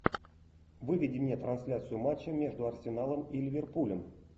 выведи мне трансляцию матча между арсеналом и ливерпулем